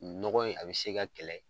Nɔgɔn in a bi se ka kɛlɛ